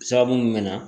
Sababu mun bɛ na